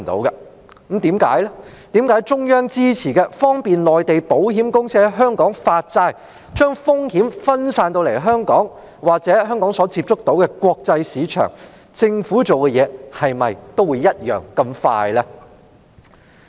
是否中央支持的方便內地保險公司在香港發債，將風險分散至香港——或香港所接觸到的國際市場——的措施，政府便會這樣迅速處理？